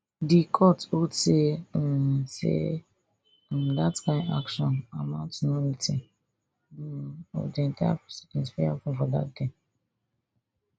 di court hold say um say um dat kain action amount to nullity um of di entire proceedings wey happun for dat day